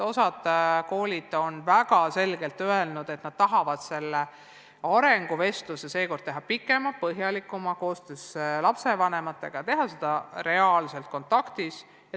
Osa koole on öelnud väga selgelt, et nad tahavad arenguvestluse teha sel korral pikema, põhjalikuma ja koos lapsevanematega ning teha seda reaalselt kontaktis olles.